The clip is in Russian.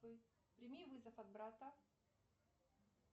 прими вызов от брата